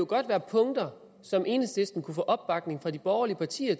godt være punkter som enhedslisten kunne få opbakning til fra de borgerlige partier